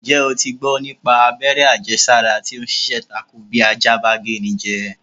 Ǹjẹ́́ o ti gbọ́ nípa abẹ́rẹ́ àjẹsára tí o ń ṣiṣẹ́ tako bí ajá bá géni jẹ?